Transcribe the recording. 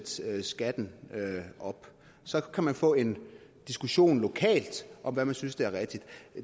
sætte skatten op så kan man få en diskussion lokalt om hvad man synes er rigtigt